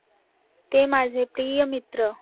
ते माझे प्रिय मित्र